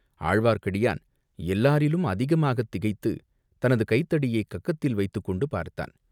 ஆழ்வார்க்கடியான் எல்லாரிலும் அதிகமாகத் திகைத்துத் தனது கைத் தடியைக் கக்கத்தில் வைத்துக்கொண்டு பார்த்தான்.